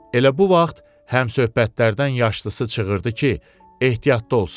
Elə bu vaxt həmsöhbətlərdən yaşlısı çığırdı ki, ehtiyatlı olsun.